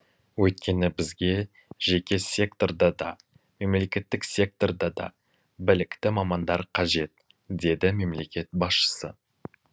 өйткені бізге жеке секторда да мемлекеттік секторда да білікті мамандар қажет деді мемлекет басшысы